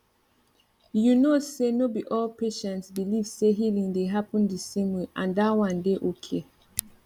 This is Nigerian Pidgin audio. you know say no be all patients believe say healing dey happen the same way and that one dey okay